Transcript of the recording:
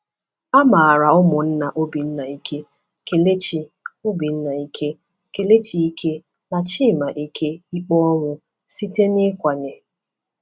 A mara ụmụnna Obinna Ike, Kelechi Obinna Ike, Kelechi Ike, na chima Ike ikpe ọnwụ site n’ịkwanye.